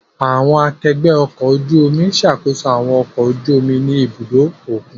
Àwọn akẹgbẹ ọkọ̀ ojú omi n ṣakoso awọn ọkọ̀ ojú omi ni ibudo okun